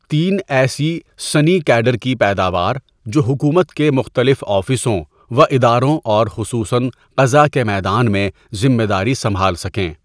تین ایسی سنی کیٖڈر کی پیداوار جو حکومت کے مختلف آفسوں و اداروں اور خصوصاً قضاءکے میدان میں ذمہ داری سنبھال سکیں.